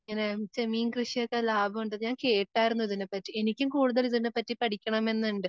ഇങ്ങനെ മീൻ കൃഷിയൊക്കെ ലാഭം ഉണ്ടെന്ന് ഞാൻ കേട്ടായിരുന്നു ഇതിനെപ്പറ്റി. എനിക്കും കൂടുതൽ ഇതിനെപ്പറ്റി പഠിക്കണമെന്നുണ്ട്.